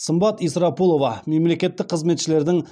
сымбат исрапулова мемлекеттік қызметшілердің